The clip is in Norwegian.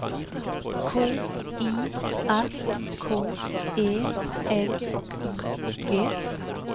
K I R K E L I G